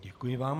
Děkuji vám.